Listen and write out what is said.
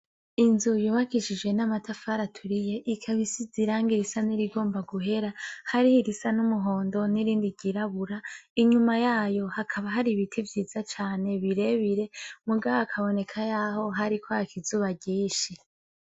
Inzu yubakishijwe n'amatafari aturiye ikaba isize iranga risa n'irigomba guhera hariho irisa n'umuhondo n'irindi ryirabura, inyuma yayo hakaba hari ibiti vyiza cane birebire mugabo hakaboneka yaho hariko haka izuba ryinshi.